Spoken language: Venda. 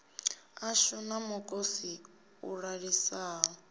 ashu na mukosi u ḓaḓisaho